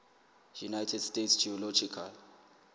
united states geological